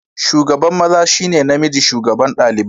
Shugaban maza shi ne namijin shugaban ɗalibai.